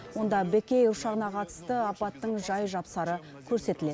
онда бек эйр ұшағына қатысты апаттың жай жапсары көрсетіледі